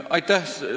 Aitäh!